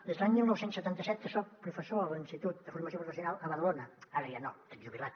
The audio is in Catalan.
des de l’any dinou setanta set que soc professor a l’institut de formació professional a badalona ara ja no estic jubilat